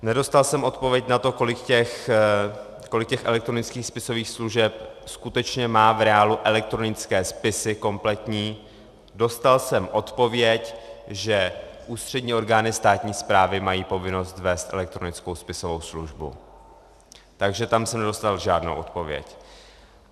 Nedostal jsem odpověď na to, kolik těch elektronických spisových služeb skutečně má v reálu elektronické spisy kompletní, dostal jsem odpověď, že ústřední orgány státní správy mají povinnost vést elektronickou spisovou službu, takže tam jsem nedostal žádnou odpověď.